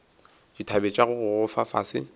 dithabe tša go gogoba fase